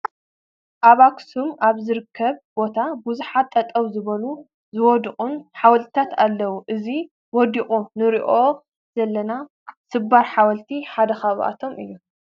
ኣብ ኣኽሱም ኣብ ዝርከብ ቦታ ብዙሓት ጠጠው ዝበሉን ዝወደቑን ሓወልትታት ኣለዉ፡፡ እዚ ወዲቑ ንሪኦ ዘለና ስባር ሓወልቲ ሓደ ካብኣቶም እዩ፡፡